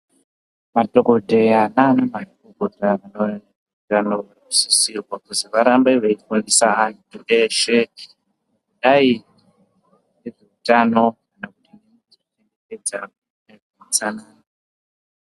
Madhokoteya naana mukoti vanosisirwa kuzi varambe veifundisa vanthu veshe kuti iryai zvine utano.......